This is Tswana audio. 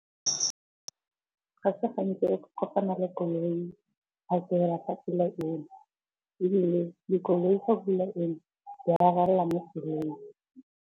Ga se gantsi re ka kopana le koloi phakela fa pula ena. Ebile dikoloi fa pula ena di a relela mo tseleng.